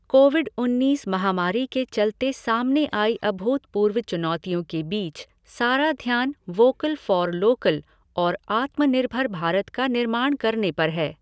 Covid उन्नीस महामारी के चलते सामने आई अभूतपूर्व चुनौतियों के बीच सारा ध्यान वोकल फ़ॉर लोकल और आत्मनिर्भर भारत का निर्माण करने पर है।